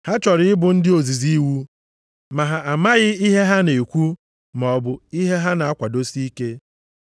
Ha chọrọ ịbụ ndị ozizi iwu ma ha amaghị ihe ha na-ekwu maọbụ ihe ha na-akwadosi ike.